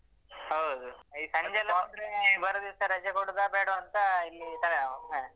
ಹೌದು ಈ ಸಂಜೆಲ್ಲ ಬಂದ್ರೆ ಮರುದಿವಸ ರಜೆ ಕೊಡುದ ಬೇಡ್ವಾ ಅಂತ ಎಲ್ಲಿ ತಲೆ ನೋವ್ ಹ.